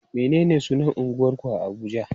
Menene sunan unguwarku a Abuja?